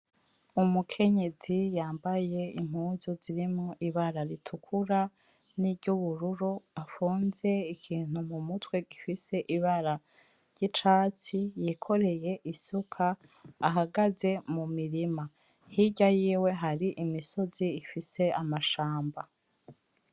Umukenyezi yambaye impuzu zirimo ibara ritukura; n'iryubururu afunze ikintu mumutwe gifise ibara ry'icatsi yikoreye isuka ahagaze mumirima. Hirya yiwe hari imisozi ifise amashamba.